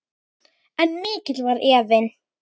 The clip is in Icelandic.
En mikill var efinn.